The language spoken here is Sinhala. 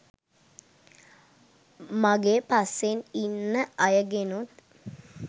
මගේ පස්සෙන් ඉන්න අයගෙනුත්